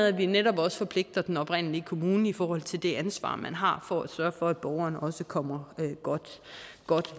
at vi netop forpligter den oprindelige kommune i forhold til det ansvar den har for at sørge for at borgeren også kommer godt